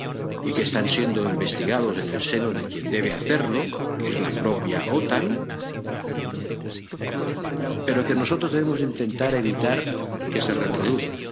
y que están siendo investigados en el seno de quien debe hacerlo —que es la propia OTAN—, pero que nosotros debemos intentar evitar que se reproduzcan.